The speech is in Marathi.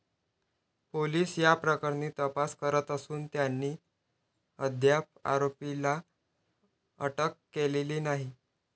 पोलीस या प्रकरणी तपास करत असून त्यांनी अद्याप आरोपीला अटक केलेली नाही.